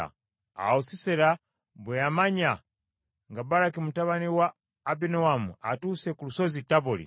Awo Sisera bwe yamanya nga Baraki mutabani wa Abinoamu atuuse ku Lusozi Taboli,